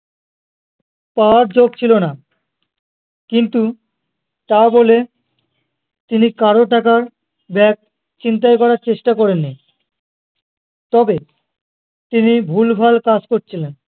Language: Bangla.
পাওয়ার যোগ ছিলো না কিন্তু তা বলে তিনি কারো টাকার ব্যাগ ছিনতাই করার চেষ্টা করেননি তবে তিনি ভুলভাল কাজ করছিলেন